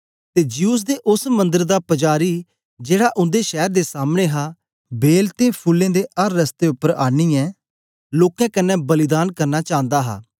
ते ज्यूस दे ओस मंदर दा पजारी जेड़ा उन्दे शैर दे सामने हा बैल ते फूलें दे अर रस्ते उपर आनीयै लोकें कन्ने बलिदान करना चांदा हा